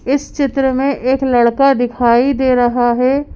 इस चित्र में एक लड़का दिखाई दे रहा है।